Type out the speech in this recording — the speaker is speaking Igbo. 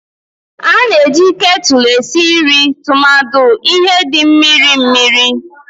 A na-eji kettles esi nri tumadi ihe n'ụdị mmiri mmiri